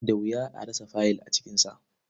Da wuya a rasa faiyil a cikinsa.